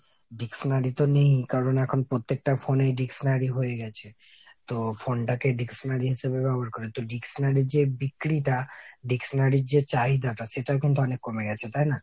dictionary তো নেই। কারণ এখন পত্তেকটা phone এই dictionary হয়ে গেছে। তো phone টাকে dictionary হিসাবে ব্যবহার করে। তো dictionary র যে বিক্রিটা। dictionary র যে চাহিদাটা সেটাও কিন্তু অনেক কমে গেছে তাই না ?